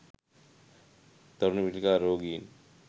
දරුණු පිළිකා රෝගීන්